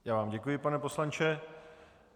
Já vám děkuji, pane poslanče.